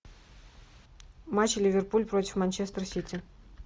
матч ливерпуль против манчестер сити